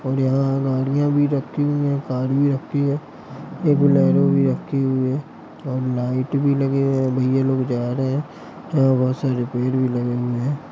और यहां गाड़ियां भी रखी हुई है कार भी रखी है एक बोलेरो भी रखी हुई है और लाइट भी लगे है भैया लोग जा रहे हैं यहां बहुत सारे पेड़ भी लगे हुए हैं।